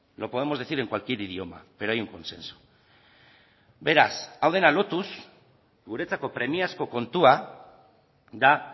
lo podemos decir en cualquier idioma pero hay un consenso beraz hau dena lotuz guretzako premiazko kontua da